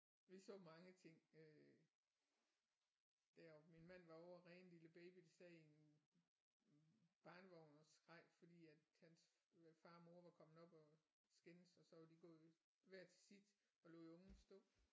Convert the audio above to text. Vi så mange ting øh deroppe min mand var over at redde en lille baby der sad i en barnevogn og skreg fordi at hans far og mor var kommet op at skændes og så var de gået hver til sit og lod ungen stå